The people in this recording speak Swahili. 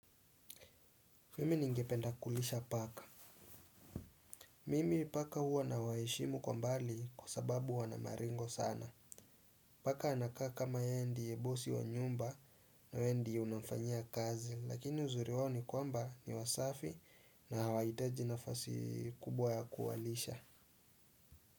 Mimi ningependa kulisha paka. Mimi paka huwa nawaheshimu kwa mbali kwa sababu wana maringo sana. Paka anakaa kama yeye ndiye bosi wa nyumba na we ndiye unamfanyia kazi lakini uzuri wao ni kwamba ni wasafi na hawahitaji nafasi kubwa ya kuwalisha.